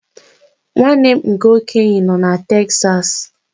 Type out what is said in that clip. Nwanne m nke okenye nọ na Texas.